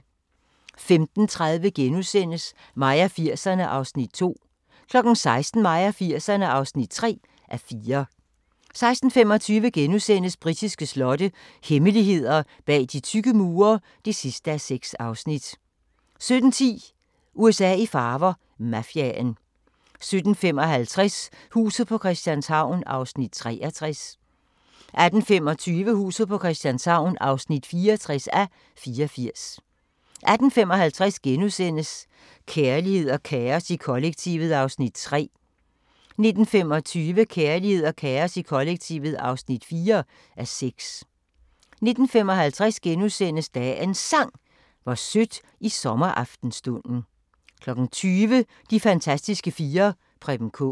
15:30: Mig og 80'erne (2:4)* 16:00: Mig og 80'erne (3:4) 16:25: Britiske slotte – hemmeligheder bag de tykke mure (6:6)* 17:10: USA i farver – Mafiaen 17:55: Huset på Christianshavn (63:84) 18:25: Huset på Christianshavn (64:84) 18:55: Kærlighed og kaos i kollektivet (3:6)* 19:25: Kærlighed og kaos i kollektivet (4:6) 19:55: Dagens Sang: Hvor sødt i sommeraftenstunden * 20:00: De fantastiske fire: Preben Kaas